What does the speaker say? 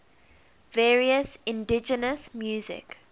various indigenous music